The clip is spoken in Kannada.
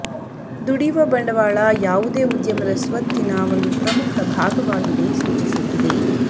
ದುಡಿಯುವ ಬಂಡವಾಳ ಯಾವುದೇ ಉದ್ಯಮದ ಸ್ವತ್ತಿನ ಒಂದು ಪ್ರಮುಖ ಭಾಗವಾಗಿದೆ ಸೂಚಿಸುತ್ತದೆ